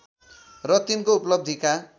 र तिनको उपलब्धिका